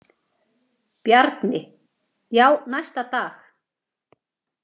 Bjarni: Já, næsta dag.